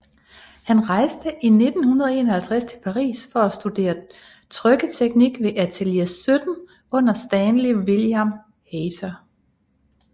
Han rejste i 1951 til Paris for at studere trykketeknik ved Atelier 17 under Stanley William Hayter